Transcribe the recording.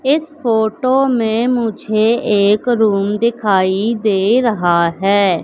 इस फोटो में मुझे एक रूम दिखाई दे रहा है।